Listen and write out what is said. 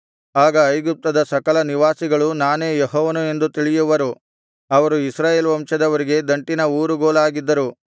ಆಗ ಐಗುಪ್ತದ ಸಕಲ ನಿವಾಸಿಗಳು ನಾನೇ ಯೆಹೋವನು ಎಂದು ತಿಳಿಯವರು ಅವರು ಇಸ್ರಾಯೇಲ್ ವಂಶದವರಿಗೆ ದಂಟಿನ ಊರುಗೋಲಾಗಿದ್ದರು